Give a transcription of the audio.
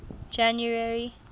january